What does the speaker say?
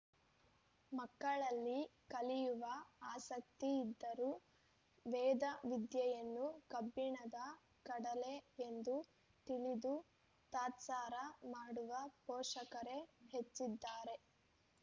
ಮಕ್ಕಳಲ್ಲಿ ಕಲಿಯುವ ಆಸಕ್ತಿ ಇದ್ದರೂ ವೇದವಿದ್ಯೆಯನ್ನು ಕಬ್ಬಿಣದ ಕಡಲೆ ಎಂದು ತಿಳಿದು ತಾತ್ಸಾರ ಮಾಡುವ ಪೋಷಕರೇ ಹೆಚ್ಚಿದ್ದಾರೆ